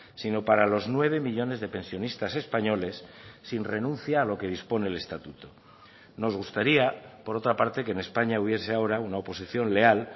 sino para los nueve millónes de pensionistas españoles sin renuncia a lo que dispone el estatuto nos gustaría por otra parte que en españa hubiese ahora una oposición leal